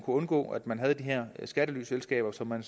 undgå at man havde de her skattelyselskaber som man